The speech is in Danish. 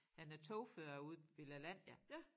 Han er togfører ude ved Lalandia